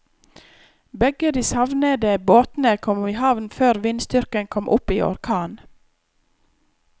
Begge de savnede båtene kom i havn før vindstyrken kom opp i orkan.